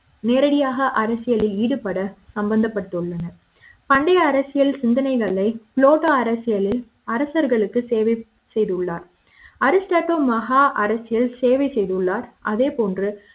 நேரடியாக அரசியலி ல் ஈடுபட சம்பந்தப்பட்டுள்ளனர் பண்டைய அரசியல் சிந்தனைகளை லோதா அரசியலி ல் அரசர்களுக்கு சேவை செய்துள்ளார் அரிஷ்டாடோ மகா அரசியல் சேவை செய்துள்ளார் அதேபோன்று